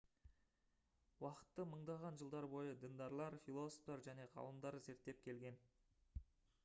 уақытты мыңдаған жылдар бойы діндарлар философтар және ғалымдар зерттеп келген